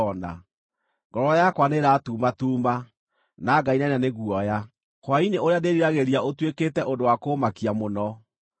Ngoro yakwa nĩĩratumatuuma, na ngainaina nĩ guoya; hwaĩ-inĩ ũrĩa ndĩriragĩria ũtuĩkĩte ũndũ wa kũũmakia mũno.